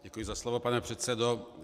Děkuji za slovo, pane předsedo.